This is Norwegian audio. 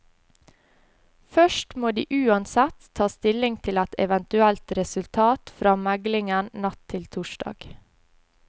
Først må de uansett ta stilling til et eventuelt resultat fra meglingen natt til torsdag.